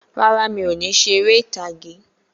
Rárá, mi ò ní ṣe eré ìtàgé.